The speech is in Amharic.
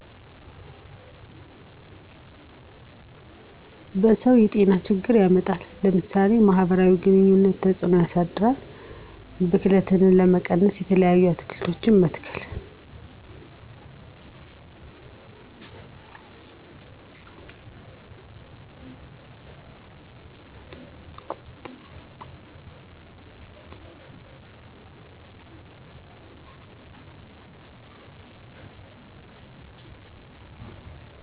በሰዉ ጤናችግር ያመጣል ለምሳሌ ማህበራዊ ግኑኝነት ተፅእኖ ያሳድራል ብክለትን ለመቀነስ የተለያዪ አትክልቶችን መትከል።